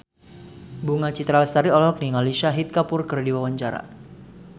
Bunga Citra Lestari olohok ningali Shahid Kapoor keur diwawancara